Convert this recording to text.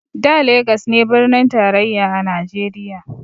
Da legas ne birnin tarayya a najeriya